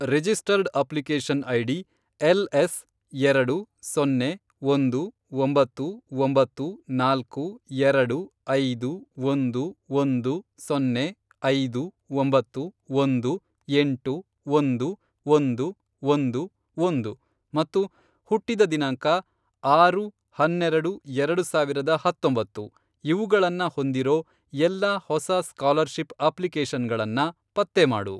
Registered application ID, L, S, ಎರಡು, ಸೊನ್ನೆ, ಒಂದು, ಒಂಬತ್ತು, ಒಂಬತ್ತು, ನಾಲ್ಕು, ಎರಡು, ಐದು, ಒಂದು, ಒಂದು, ಸೊನ್ನೆ, ಐದು, ಒಂಬತ್ತು, ಒಂದು, ಎಂಟು, ಒಂದು, ಒಂದು, ಒಂದು, ಒಂದು, ಮತ್ತು ಹುಟ್ಟಿದ ದಿನಾಂಕ, ಆರು, ಹನ್ನೆರೆಡು, ಎರಡು ಸಾವಿರದ ಹತ್ತೊಂಬತ್ತು, ಇವುಗಳನ್ನ ಹೊಂದಿರೋ ಎಲ್ಲಾ ಹೊಸ ಸ್ಕಾಲರ್ಷಿಪ್ ಅಪ್ಲಿಕೇಷನ್ಗಳನ್ನ ಪತ್ತೆ ಮಾಡು.